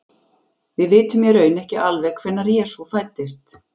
Við vitum í raun ekki alveg hvenær Jesú fæddist.